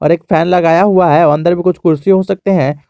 एक फैन लगाया हुआ है अंदर भी कुछ कुर्सी हो सकते हैं।